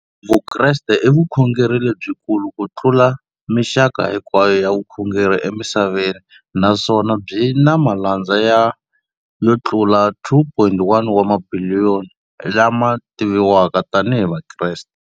Vukreste i vukhongeri lebyikulu kutlula mixaka hinkwayo ya vukhongeri emisaveni, naswona byi na malandza yo tlula 2.4 wa tibiliyoni, la ma tiviwaka tani hi Vakreste.